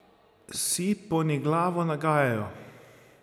Si poniglavo nagajajo!